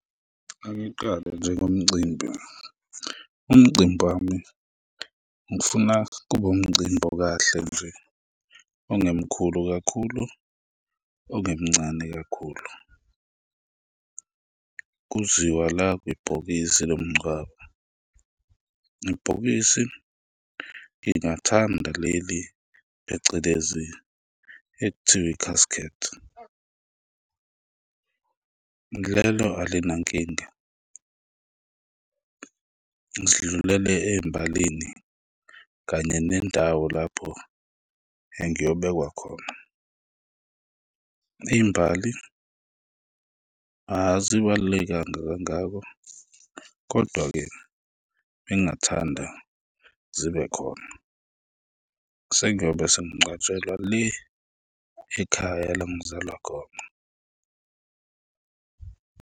Angiqale nje ngomcimbi, umcimbi wami ngifuna kube umcimbi okahle nje, ongemkhulu kakhulu, ongemncane kakhulu. Kuziwa la kwibhokisi lomngcwabo, ibhokisi ngingathanda leli phecelezi ekuthiwa i-casket, lelo alinankinga. Sidlulele ey'mbalini kanye nendawo lapho engiyobekwa khona, iy'mbali azibalulekanga kangako kodwa-ke bengingathanda zibe khona, sengiyobe sengingcwatshelwa le ekhaya la ngizalwa khona.